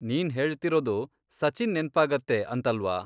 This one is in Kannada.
ನೀನ್ ಹೇಳ್ತಿರೋದು ಸಚಿನ್ ನೆನ್ಪಾಗತ್ತೆ ಅಂತಲ್ವಾ.